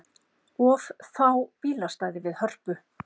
Of fá bílastæði við Hörpu